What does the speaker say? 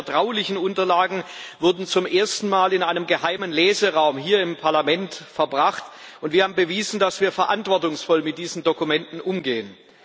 Diese vertraulichen Unterlagen wurden zum ersten Mal in einen geheimen Leseraum hier im Parlament verbracht, und wir haben bewiesen, dass wir verantwortungsvoll mit diesen Dokumenten umgehen.